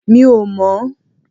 Mi ò mọ̀n